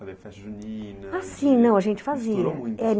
Fazer festa junina... Ah sim, não a gente fazia.